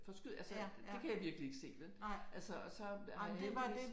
Forskyd altså det kan jeg virkelig ikke se vel altså og så havde jeg heldigvis